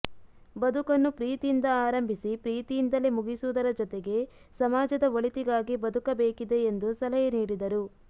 ಬದುಕನ್ನು ಪ್ರೀತಿಯಿಂದ ಆರಂಭಿಸಿ ಪ್ರೀತಿಯಿಂದಲೇ ಮುಗಿಸುವುದರ ಜತೆಗೆ ಸಮಾಜದ ಒಳಿತಿಗಾಗಿ ಬದುಕಬೇಕಿದೆ ಎಂದು ಸಲಹೆ ನೀಡಿದರು